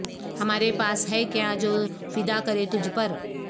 ہمارے پاس ہے کیا جو فدا کریں تجھ پر